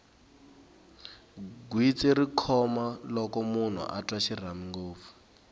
gwitsi ri khoma loko munhu a twa xirhami ngopfu